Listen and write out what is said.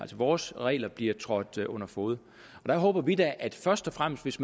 vores regler bliver trådt under fode der håber vi da først og fremmest hvis